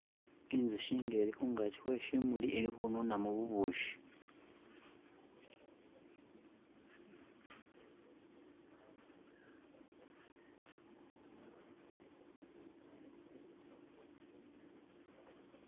inzuhi nga eli hungachii hweshimuli ili hununamu bubushi